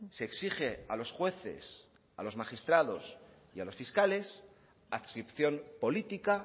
se exige a los jueces a los magistrados y a los fiscales adscripción política